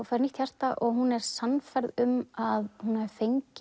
fær nýtt hjarta og hún er sannfærð um að hún hafi